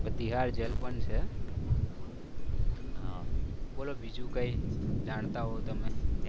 Bihar jail પણ છે બોલો બીજું કઈ જાણતા હો તમે